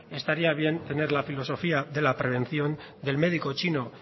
estaría bien tener la filosofía de la prevención del médico chino